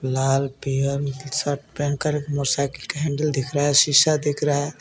लाल पियर शर्ट पहनकर मोटरसाइकिल का हैंडल दिख रहा है शिशा दिख रहा है.